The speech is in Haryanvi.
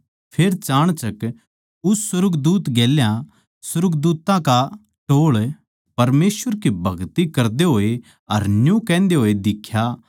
फेर चाणचक उस सुर्गदूत गेल्या सुर्गदूत्तां का टोळ परमेसवर की भगति करदे होए अर न्यू कहन्दे दिख्या